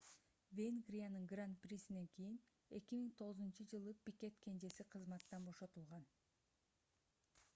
венгриянын гран-присинен кийин 2009-ж пикет кенжеси кызматтан бошотулган